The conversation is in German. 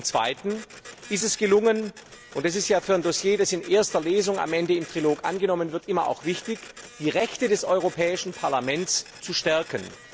Zum Zweiten ist es gelungen und das ist ja für ein Dossier, das in Erster Lesung am Ende im Trilog angenommen wird, immer auch wichtig die Rechte des Europäischen Parlaments zu stärken.